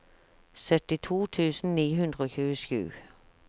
syttito tusen ni hundre og tjuesju